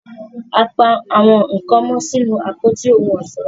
a pá àwọn nkán mó sínú Àpótí ohun ọ̀ṣọ́